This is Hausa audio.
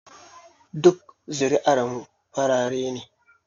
Duk zuri'ar mu farare ne